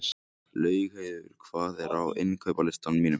Laugheiður, hvað er á innkaupalistanum mínum?